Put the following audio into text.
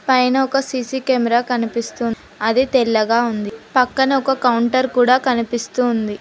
పైన ఒక C C camera కనిపిస్తుంది. అది తెల్లగా ఉంది. పక్కన ఒక కౌంటర్ కూడా కనిపిస్తూ ఉంది.